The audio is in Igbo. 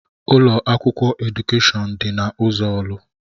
Ụlọ akwụkwọ Edukèshọn dị na ụzọ orlu.